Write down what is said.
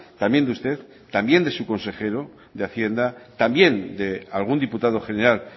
también de usted también de su consejero de hacienda también de algún diputado general